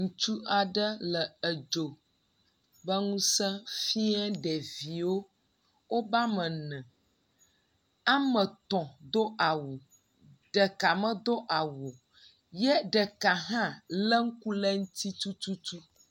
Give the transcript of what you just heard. Ŋutsu aɖe le edzo ƒe ŋusẽ fie ɖeviwo, woba ene, ame tɔ̃ do awu, ɖeka medo awu o, ye ɖeka hãlé ŋku ɖe eŋu tututu